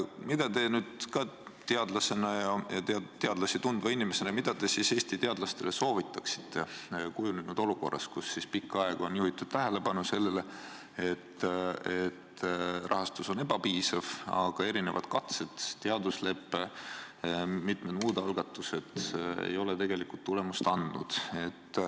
Mida te nüüd teadlasena ja teadlasi tundva inimesena Eesti teadlastele soovitaksite kujunenud olukorras, kus pikka aega on juhitud tähelepanu sellele, et rahastus on ebapiisav, aga erinevad katsed, teaduslepe ja mitmed muud algatused ei ole tegelikult tulemust andnud.